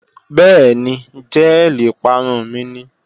Bẹ́ẹ̀ni, jẹ́ẹ̀lì ìparun mi ni